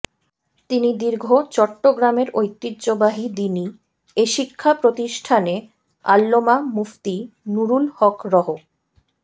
তিনি দীর্ঘ চট্টগ্রামের ঐতিহ্যবাহী দ্বীনি এ শিক্ষা প্রতিষ্ঠানে আল্লমা মুফতি নুরুল হক রহ